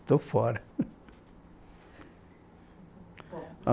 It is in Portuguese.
Estou fora.